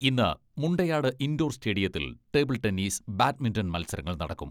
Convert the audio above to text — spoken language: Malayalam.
ഇന്ന് മുണ്ടയാട് ഇൻഡോർ സ്റ്റേഡിയത്തിൽ ടേബിൾ ടെന്നീസ്, ബാഡ്മിന്റൺ മത്സരങ്ങൾ നടക്കും.